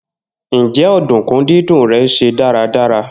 Njẹ ọdunkun didùn rẹ ṣe daradara?